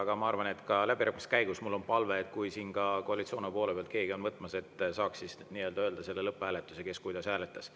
Mul on palve, et kui läbirääkimiste käigus keegi siin koalitsioonist võtab, ehk saaks siis öelda, kes kuidas sellel lõpphääletusel hääletas.